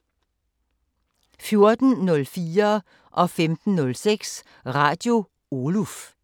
14:04: Radio Oluf 15:06: Radio Oluf